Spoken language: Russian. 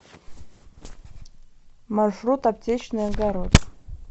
маршрут аптечный огород